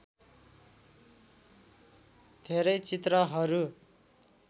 धेरै चित्रहरू